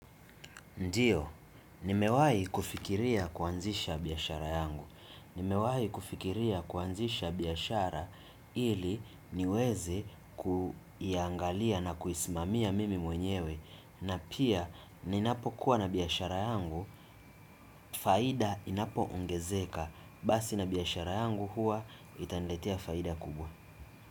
Ndiyo, nimewai kufikiria kuanzisha biashara yangu. Nimewai kufikiria kuanzisha biashara ili niwezi kuiyangalia na kuisimamia mimi mwenyewe. Na pia, ni napo kuwa na biashara yangu, faida inapo ongezeka. Basi na biashara yangu hua, itaniletia faida kubwa.